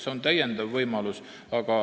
See on täiendav võimalus.